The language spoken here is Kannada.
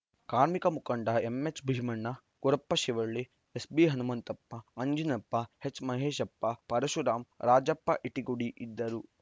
ಕಾರ್ಮಿಕ ಮುಖಂಡ ಎಂಎಚ್‌ ಭೀಮಣ್ಣ ಗುರಪ್ಪ ಶಿವಳ್ಳಿ ಎಸ್‌ಬಿಹನುಮಂತಪ್ಪ ಅಂಜಿನಪ್ಪಎಚ್‌ ಮಹೇಶಪ್ಪ ಪರುಶರಾಮ್‌ ರಾಜಪ್ಪಇಟಿಗುಡಿ ಇದ್ದರು